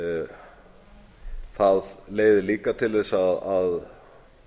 það leiðir líka til þess að